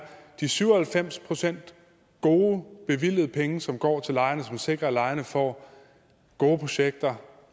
at de syv og halvfems procent gode bevilgede penge som går til lejerne og som sikrer at lejerne får gode projekter